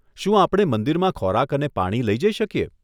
શું આપણે મંદિરમાં ખોરાક અને પાણી લઈ જઈ શકીએ?